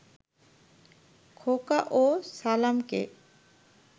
খোকা ও সালামকে